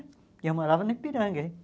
E eu morava no Ipiranga, hein?